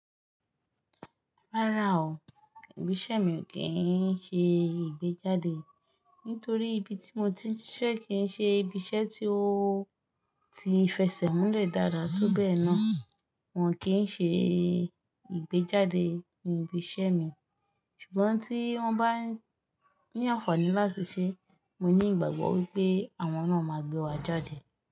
Rárá o, ibi iṣẹ́ mi kì í ṣe ìgbéjáde. Nítorí ibi tí mo ti ń ṣiṣẹ́ kì í ṣe ibi iṣẹ́ tí ó ti fẹsẹ̀ múlẹ̀ dáadáa, tó bẹ́ẹ̀ náà, wọ́n kì í ṣe ìgbéjáde ní ibi iṣẹ́ mi. Ṣùgbọ́n tí wọ́n bá ní àǹfààní láti ṣe, mo ní ìgbàgbọ́ wípé àwọn náà máa gbé wa jáde.